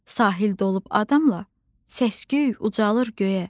Sahil dolub adamla, səs-küy ucalır göyə.